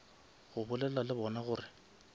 go bolela le bona gore